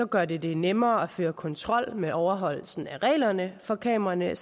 gør det det nemmere at føre kontrol med overholdelsen af reglerne for kameraerne